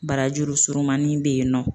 Barajuru surunmanin bɛ yen nɔ